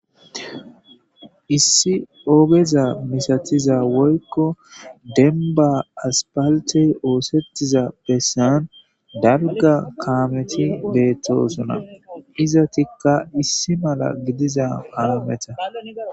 Issi oogeza misatiza woykko denba aspaltey oosettiza bessan darga kaameti beettosuna iza tikka issi mala gidiza haameta.